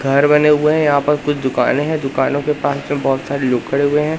घर बने हुए हैं यहां पर कुछ दुकाने है दुकानों के पास में बहोत सारे लोग खड़े हुए हैं।